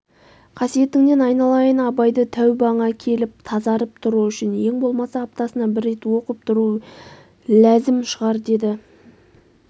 қасиетіңнен айналайын абайды тәубаңа келіп тазарып тұру үшін ең болмаса аптасына бір рет оқып тұру ләзім шығар деді